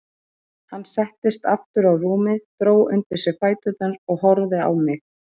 Hann settist aftur á rúmið, dró undir sig fæturna og horfði á mig.